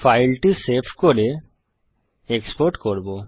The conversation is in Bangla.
ফাইলটি সেভ করে এক্সপোর্ট করব